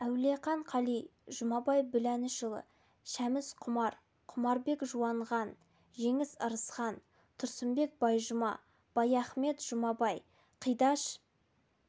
әуелқан қали жұмабай біләлұлы шәміс құмар құмарбек жуанған жеңіс ырысхан тұрсынбек байжұма баяхымет жұмабай қидаш